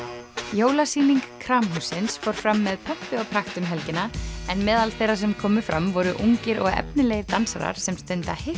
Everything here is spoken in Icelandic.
jólasýning Kramhússins fór fram með pompi og prakt um helgina en meðal þeirra sem komu fram voru ungir og efnilegir dansarar sem stunda